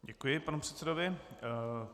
Děkuji panu předsedovi.